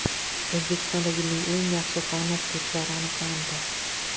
O‘zbekistonda yilning eng yaxshi fan o‘qituvchilari aniqlandi.